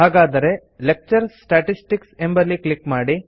ಹಾಗಾದರೆ lecture statistics ಎಂಬಲ್ಲಿ click ಮಾಡಿ